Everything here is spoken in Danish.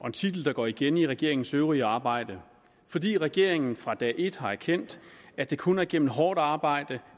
en titel der går igen i regeringens øvrige arbejde fordi regeringen fra dag et har erkendt at det kun er igennem hårdt arbejde